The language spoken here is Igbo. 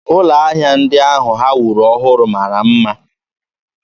Ụlọ ahịa ndị ahụ ha wuru ọhụrụ mara mma.